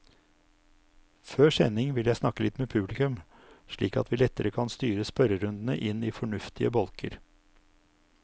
Før sending vil jeg snakke litt med publikum, slik at vi lettere kan styre spørrerundene inn i fornuftige bolker.